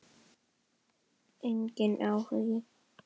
Enginn áhugi.